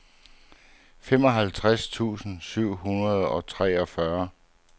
femoghalvtreds tusind syv hundrede og treogfyrre